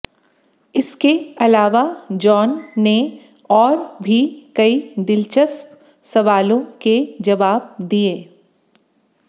इसके अलावा जॉन ने और भी कई दिलचस्प सवालों के जवाब दिए